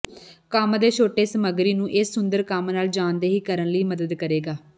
ਕੰਮ ਦੇ ਛੋਟੇ ਸਮੱਗਰੀ ਨੂੰ ਇਸ ਸੁੰਦਰ ਕੰਮ ਨਾਲ ਜਾਣਦੇ ਹੀ ਕਰਨ ਲਈ ਮਦਦ ਕਰੇਗਾ